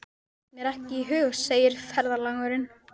Datt mér ekki í hug, segir ferðalangur.